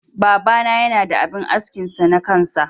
Baba na Yana da abin askin sa na kansa.